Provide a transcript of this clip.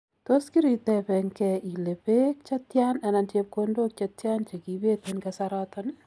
Tos kiritembegee ile beek chetian anan chepkondook chetian chekibeet en kasaroton?